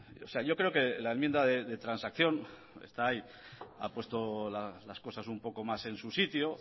o sea yo creo que la enmienda de transacción está ahí ha puesto las cosas un poco más en su sitio